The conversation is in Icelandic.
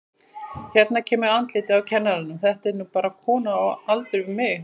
Hérna kemur andlitið á kennaranum, þetta er nú bara kona á aldur við mig.